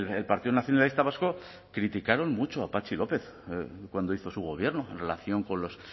el partido nacionalista vasco criticaron mucho a patxi lópez cuando hizo su gobierno en relación con los